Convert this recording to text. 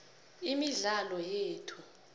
imidlalo yethu